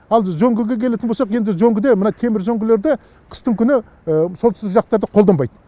ал үзеңгіге келетін болсақ енді үзеңгіде мына темір үзеңгілерді қыстыгүні солтүстік жақтарда қолданбайды